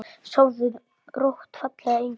Sofðu rótt, fallegi engill.